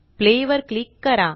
Playवर click करा